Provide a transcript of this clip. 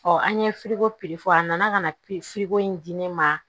an ye ko fɔ a nana ka na in di ne ma